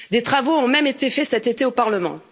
Des travaux ont même été faits cet été au Parlement.